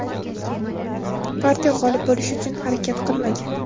partiya g‘olib bo‘lish uchun harakat qilmagan.